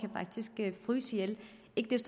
faktisk kan fryse ihjel